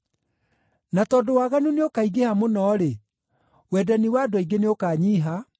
Na tondũ waganu nĩũkaingĩha mũno-rĩ, wendani wa andũ aingĩ nĩũkanyiiha,